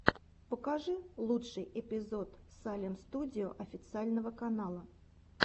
покажи лучший эпизод салем студио официального канала